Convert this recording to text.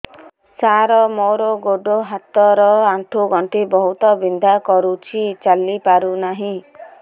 ସାର ମୋର ଗୋଡ ହାତ ର ଆଣ୍ଠୁ ଗଣ୍ଠି ବହୁତ ବିନ୍ଧା କରୁଛି ଚାଲି ପାରୁନାହିଁ